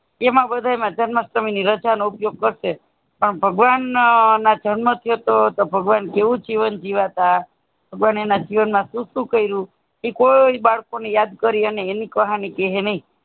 એમાં બધા માં જન્માસ્ટમી સમયેનો રાજા નો ઉપયોગ કરશે પણ ભગવાન ના જન્મ થયોતો ભગવાન કેવો જીવન જીવતાં બને ના જીવન સુ સુ કર્યુ ઈ કોઈ બાળકે યાદ કરીયે એની કહાની ક્હે નહિ